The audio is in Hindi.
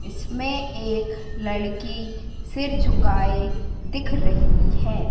इसमें एक लड़की सिर झुकाए दिख रही है।